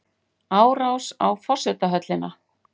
Árás á forsetahöllina